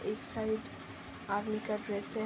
एक side army का dress है।